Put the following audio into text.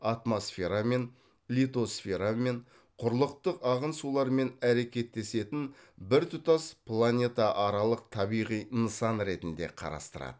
атмосферамен литосферамен құрылықтық ағын сулармен әрекеттесетін біртұтас планетааралық табиғи нысан ретінде қарастырады